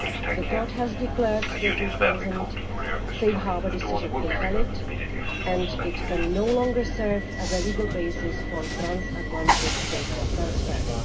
The Court has declared the 2000 Safe Harbour decision invalid, and it can no longer serve as a legal basis for transatlantic data transfers.